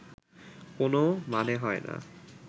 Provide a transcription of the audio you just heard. কোনো মানে হয় না